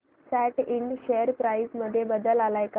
सॅट Ind share price मध्ये बदल आलाय का